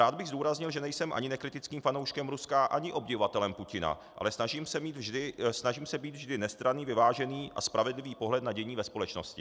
Rád bych zdůraznil, že nejsem ani nekritickým fanouškem Ruska ani obdivovatelem Putina, ale snažím se mít vždy nestranný, vyvážený a spravedlivý pohled na dění ve společnosti.